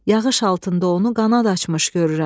Yağış altında onu qanad açmış görürəm.